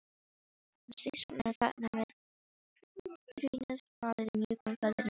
Hún steinsofnaði þarna með trýnið falið í mjúkum feldinum á